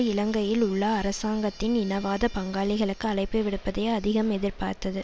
இலங்கையில் உள்ள அரசாங்கத்தின் இனவாத பங்காளிகளுக்கு அழைப்பு விடுப்பதையே அதிகம் எதிர்பார்த்தது